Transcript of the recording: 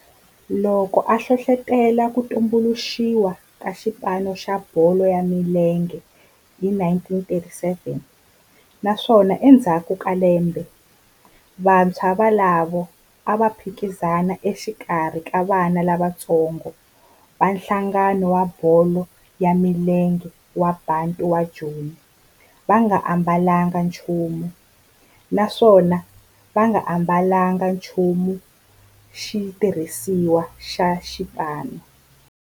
Loko a hlohlotela ku tumbuluxiwa ka xipano xa bolo ya milenge hi 1937 naswona endzhaku ka lembe vantshwa volavo a va phikizana exikarhi ka vana lavatsongo va nhlangano wa bolo ya milenge wa Bantu wa Joni va nga ambalanga nchumu naswona va nga ambalanga nchumu xitirhisiwa xa xipano.